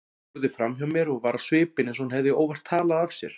Horfði framhjá mér og var á svipinn eins og hún hefði óvart talað af sér.